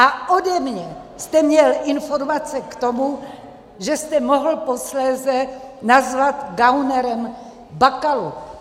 A ode mě jste měl informace k tomu, že jste mohl posléze nazvat gaunerem Bakalu.